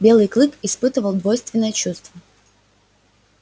белый клык испытывал двойственное чувство